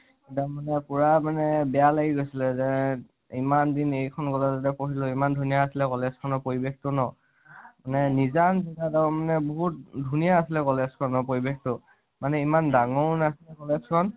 সেইদিনাখন পুৰা মানে বেয়া লাগি গৈছিলে যে ইমান দিন এইখন college তে পঢ়িলো ইমান ধুণীয়া আছিলে college খনৰ পৰিৱেশতো ন । মানে নিজান মানে বহুত ধুণীয়া আছিলে college খনৰ পৰিৱেশতো মানে ইমান ডাঙৰো নাছিলে college খন